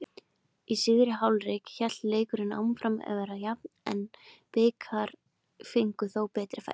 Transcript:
Í síðari hálfleik hélt leikurinn áfram að vera jafn en Blikar fengu þó betri færi.